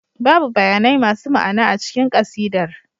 Babu bayanai masu ma'ana a cikin ƙasidar